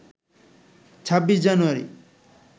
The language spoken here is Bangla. ২৬ জানুয়ারি